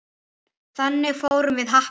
Þangað fórum við Happi.